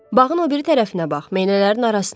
Bağın o biri tərəfinə bax, meynələrin arasına.